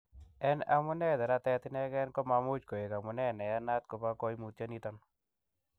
En amune, neratet inegen komamuch koik amune neyanat nebo koimutioniton.